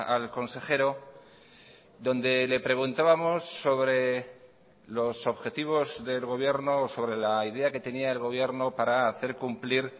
al consejero donde le preguntábamos sobre los objetivos del gobierno sobre la idea que tenía el gobierno para hacer cumplir